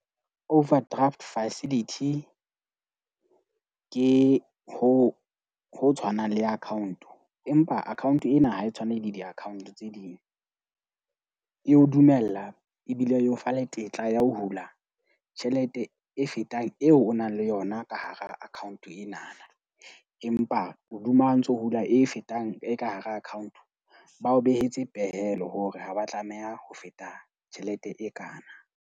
Overdraft facility ke ho tshwanang le account, empa account ena ha e tshwane le di-ccount tse ding. E o dumella ebile e o fa le tetla ya ho hula tjhelete e fetang eo o nang le yona ka hara account ena. Empa hoduma ntso hula e fetang e ka hara account ba o behetse pehelo hore haba tlameha ho feta tjhelete e kana.